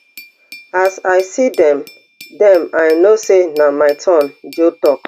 as i see dem dem i know say na my turn joe tok